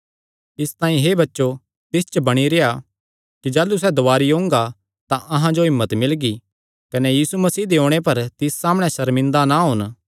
इसतांई हे बच्चो तिस च बणी रेह्आ कि जाह़लू सैह़ दुवारी ओंगा तां अहां जो हिम्मत मिलगी कने यीशु मसीह दे ओणे पर तिस सामणै सर्मिंदा ना होन